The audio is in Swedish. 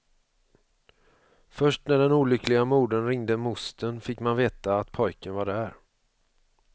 Först när den olyckliga modern ringde mostern fick man veta att pojken var där.